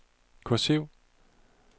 kursiv